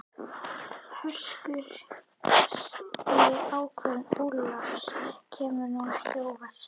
Höskuldur: Þessi ákvörðun Ólafs, kemur hún þér á óvart?